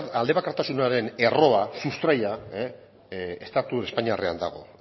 aldebakartasunaren erroa sustraia estatu espainiarrean dago